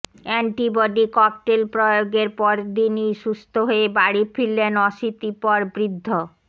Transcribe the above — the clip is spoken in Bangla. অ্যান্টিবডি ককটেল প্রয়োগের পরদিনই সুস্থ হয়ে বাড়ি ফিরলেন অশীতিপর বৃদ্ধ